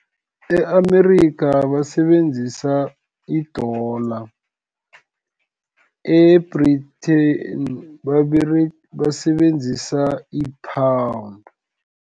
E-Amerika basebenzisa, i-dollar, e-Britain basebenzisa i-pound.